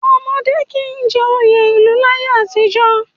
Ọmọdé kì í jẹ oyè ìlú láyé àtijọ́